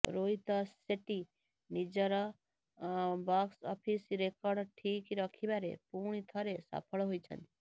ରୋହିତ ସେଟ୍ଟି ନିଜର box office record ଠିକ୍ ରଖିବାରେ ପୁଣି ଥରେ ସଫଳ ହୋଇଛନ୍ତି